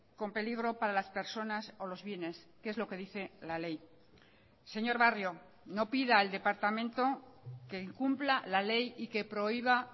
con peligro para las personas o los bienes que es lo que dice la ley señor barrio no pida al departamento que incumpla la ley y que prohíba